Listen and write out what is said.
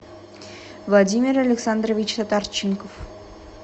владимир александрович татарченков